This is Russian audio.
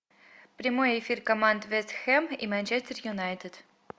прямой эфир команд вест хэм и манчестер юнайтед